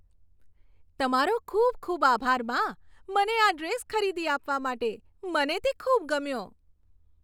તમારો ખૂબ ખૂબ આભાર, મા! મને આ ડ્રેસ ખરીદી આપવા માટે, મને તે ખૂબ ગમ્યો.